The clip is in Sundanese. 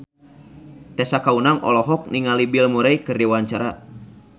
Tessa Kaunang olohok ningali Bill Murray keur diwawancara